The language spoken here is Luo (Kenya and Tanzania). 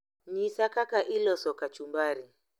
Nyisa kaka iloso kachumbari